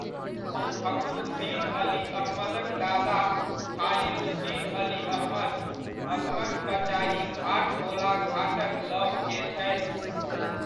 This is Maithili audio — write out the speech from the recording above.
फखरुद्दीन अली अहमदक दादा, खालिलुद्दिन अली अहमद असमक कचारीघाट गोलाघाटक लग के छथि।